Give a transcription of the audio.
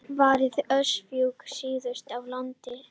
Varað við öskufjúki syðst á landinu